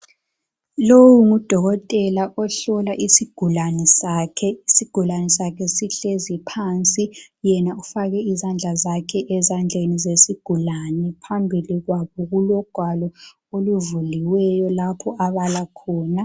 Lo ngudokotela ohlola isigulane sakhe. Isigulane sakhe sihlezi phansi yena ufake izandla zakhe ezandleni zesigulane. Phambili kwabo kulogwalo oluvuliweyo lapho abala khona.